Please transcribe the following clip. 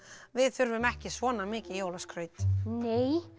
við þurfum ekki svona mikið jólaskraut nei